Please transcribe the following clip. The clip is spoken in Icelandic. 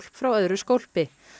frá öðru skólpi